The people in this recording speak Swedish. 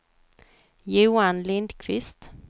Johan Lindquist